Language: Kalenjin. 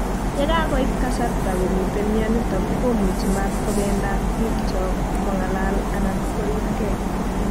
Ye kakoit kasarta komite mionitok komuchi matkobendat bichotok, kong'alal anan koripkei